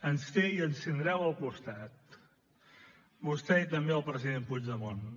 ens té i ens tindreu al costat vostè i també el president puigdemont